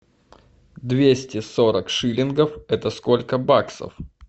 двести сорок шиллингов это сколько баксов